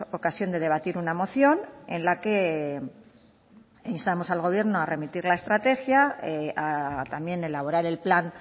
ocasión de debatir una moción en la que instamos al gobierno a remitir la estrategia a también elaborar el plan